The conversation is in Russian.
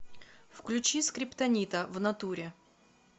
включи скриптонита внатуре